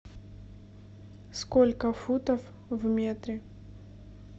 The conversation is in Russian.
сколько футов в метре